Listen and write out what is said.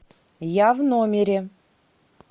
я в номере